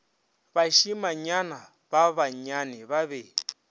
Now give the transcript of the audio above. bašimanyana ba bannyane ba be